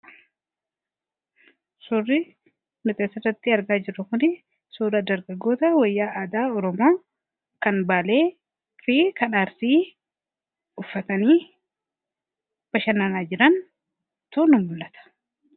suri mixeessarratti argaa jiru kun sura dargagoota wayyaa aadaa oromaa kan baalee fi kadhaarsii uffatanii bashannanaa jiran tun i mu'ata